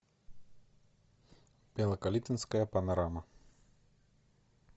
белокалитвинская панорама